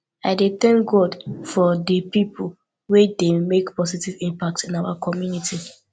i dey thank god for dey people wey dey make positive impact in our community